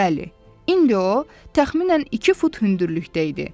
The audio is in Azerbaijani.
Bəli, indi o təxminən iki fut hündürlükdə idi.